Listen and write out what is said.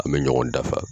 An bɛ ɲɔgɔn dafa